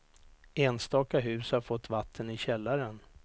Enstaka hus har fått vatten i källaren.